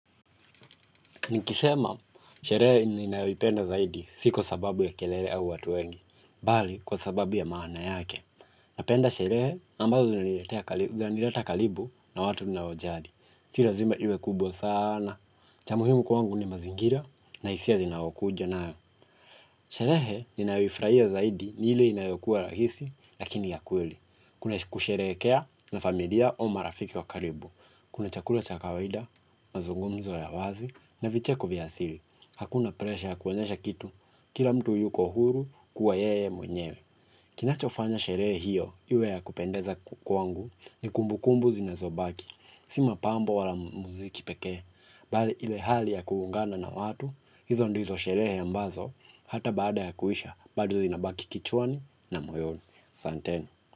Nikisema, sherehe ninayoipenda zaidi sio kwasababu ya kelele au watu wengi, bali kwa sababu ya maana yake. Napenda sherehe ambazo zinileta kalibu na watu ninao wajari. Si lazima iwe kubwa sana. Cha muhimu kwangu ni mazingira na isia zinaokuja nayo. Sherehe ninayoifuraia zaidi ni ile inayokuwa rahisi lakini ya kweli. Kuna kusherehekea na familia o marafiki wa karibu. Kuna chakula cha kawida, mazungumzo ya wazi, na vicheko vya asili. Hakuna presha ya kuonyesha kitu, kila mtu yuko huru kuwa yeye mwenyewe. Kinachofanya sherehe hiyo, iwe ya kupendeza kwangu, ni kumbu kumbu zinazobaki. Si mapambo wala muziki pekee. Bali ile hali ya kuungana na watu, hizo ndizo sherehe ambazo, hata baada ya kuisha, bado zinabaki kichwani na moyoni. Santeni.